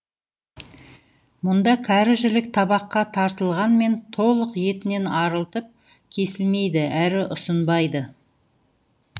мұнда кәрі жілік табаққа тартылғанмен толық етінен арылтып кесілмейді әрі ұсынбайды